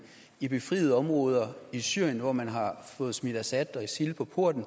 i befriede områder i syrien hvor man har fået smidt assad og isil på porten